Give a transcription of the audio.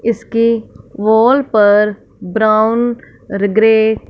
इसके वॉल पर brown grey --